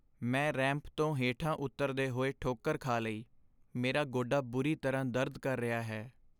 ਮੈਂ ਰੈਂਪ ਤੋਂ ਹੇਠਾਂ ਉਤਰਦੇ ਹੋਏ ਠੋਕਰ ਖਾ ਲਈ। ਮੇਰਾ ਗੋਡਾ ਬੁਰੀ ਤਰ੍ਹਾਂ ਦਰਦ ਕਰ ਰਿਹਾ ਹੈ।